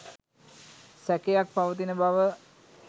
සැකයක්‌ පවතින බව